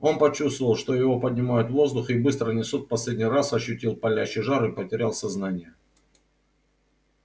он почувствовал что его поднимают в воздух и быстро несут в последний раз ощутил палящий жар и потерял сознание